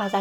نم